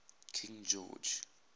king george